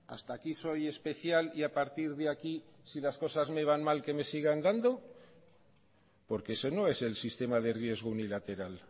hasta aquí soy especial y a partir de aquí si las cosas me van mal que me sigan dando porque eso no es el sistema de riesgo unilateral